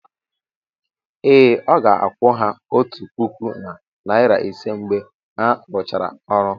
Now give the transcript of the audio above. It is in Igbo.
ee, ọ ga-akwụ ha otu puku na narị ise mgbe ha rụchara ọrụ.